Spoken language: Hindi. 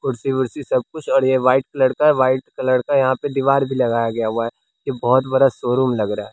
कुर्सी वोर्सी सब कुछ और यह व्हाइट कलर का है व्हाइट कलर का यहां पे दीवार भी लगाया गया हुआ है ये बहुत बड़ा शोरूम लग रहा है।